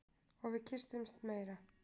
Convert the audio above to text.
Og við kyssumst meira.